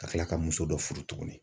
Ka tila ka muso dɔ furu tuguni.